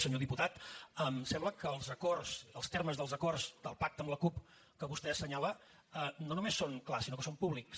senyor diputat em sembla que els acords els termes dels acords del pacte amb la cup que vostè assenyala no només són clars sinó que són públics